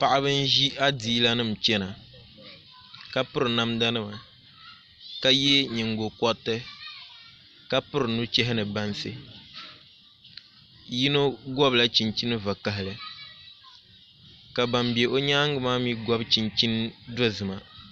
Paɣaba n ʒi adiila nim chɛna ka piri namda nima ka yɛ nyingokoriti ka piri nuchɛha ni bansi yino gobila chinchini zaɣ vakaɣali ka ban bɛ bi nyaangi maa mii gobi chinchin dozima